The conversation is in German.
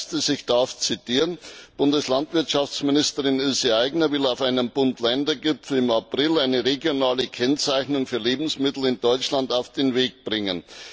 Hier heißt es ich darf zitieren Bundeslandwirtschaftsministerin Ilse Aigner will auf einem Bund Länder Gipfel im April eine regionale Kennzeichnung für Lebensmittel in Deutschland auf den Weg bringen.